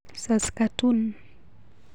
Saskatoon